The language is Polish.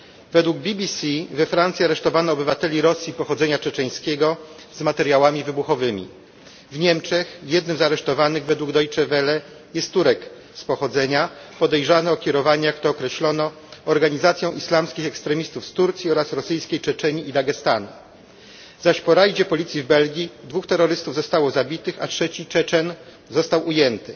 Według BBC we Francji aresztowano obywateli Rosji pochodzenia czeczeńskiego z materiałami wybuchowymi. W Niemczech jednym z aresztowanych według Deutsche Welle jest z pochodzenia Turek podejrzany o kierowanie, jak to określono, organizacją islamskich ekstremistów z Turcji oraz rosyjskiej Czeczenii i Dagestanu, zaś po obławie policji w Belgii dwóch terrorystów zostało zabitych, a trzeci Czeczen został ujęty.